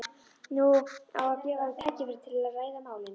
Nú á að gefa þeim tækifæri til að ræða málin.